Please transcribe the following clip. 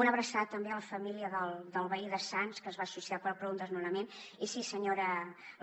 una abraçada també a la família del veí de sants que es va suïcidar per un desnonament i sí senyora